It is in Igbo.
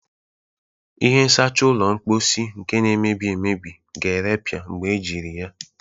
Ihe nsacha ụlọ mposi nke na-emebi emebi ga-erepịa mgbe ejiri ya.